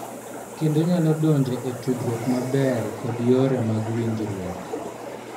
Kendo nyalo donjo e tudruok maber kod yore mag winjruok.